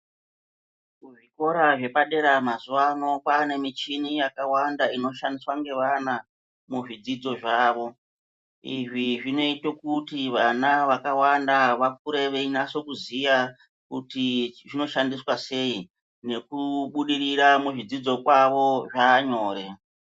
Muzvikora zvepadera mazuvano kwaanemichini yakawanda inoshandiswa ngevana muzvidzidzo zvavo. Izvi zvinoite kuti vana vakawanda vakure veinase kuziya kuti zvinoshandiswa sei, nekubudirira muzvidzidzo kwavo zvaanyore.